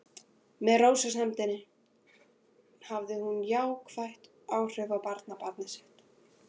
Með rósemdinni hafði hún jákvæð áhrif á barnabarn sitt.